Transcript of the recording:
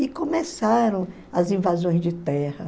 E começaram as invasões de terra.